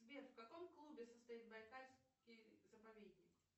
сбер в каком клубе состоит байкальский заповедник